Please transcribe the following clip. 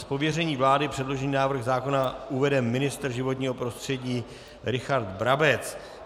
Z pověření vlády předložený návrh zákona uvede ministr životního prostředí Richard Brabec.